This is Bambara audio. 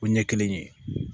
O ɲɛ kelen ye